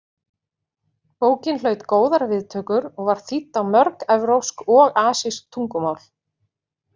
Bókin hlaut góðar viðtökur og var þýdd á mörg evrópsk og asísk tungumál.